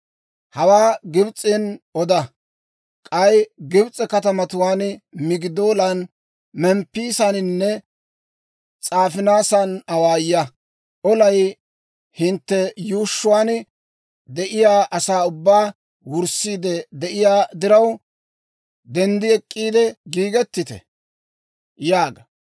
«Hawaa Gibs'en oda; k'ay Gibs'e katamatuwaan Migidoolan, Memppisaaninne S'aafinaasan awaaya. ‹Olay hintte yuushshuwaan de'iyaa asaa ubbaa wurssiid de'iyaa diraw, denddi ek'k'iide giigettite!› yaaga.